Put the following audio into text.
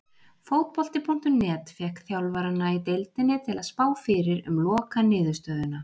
Fótbolti.net fékk þjálfarana í deildinni til að spá fyrir um lokastöðuna.